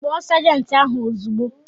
Kpọọ sajenti ahụ ozugbo!